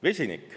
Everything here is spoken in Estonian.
Vesinik.